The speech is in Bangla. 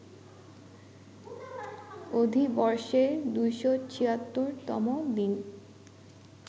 অধিবর্ষে ২৭৬ তম দিন